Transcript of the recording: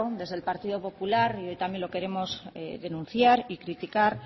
desde el partido popular y hoy también lo queremos denunciar y criticar